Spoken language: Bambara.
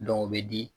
o bɛ di